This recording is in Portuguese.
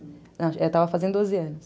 Eu estava fazendo doze anos.